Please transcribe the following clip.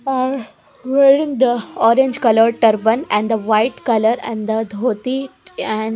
aah wearing the orange colour turban and the white colour and the dhoti and.